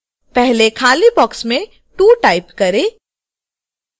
पहले खाली बॉक्स में 2 टाइप करें